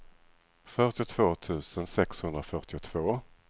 fyrtiotvå tusen sexhundrafyrtiotvå